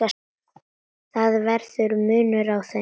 Það verður munur á þeim.